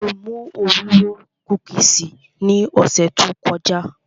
Mo mú Oreo kúkìsì ní ọ̀sẹ̀ tó kọjá